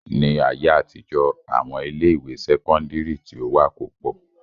Ni ayé àtijọ́, àwọn ilé ìwé sẹ́kọ́ńdírì tí ó wà kò pọ̀.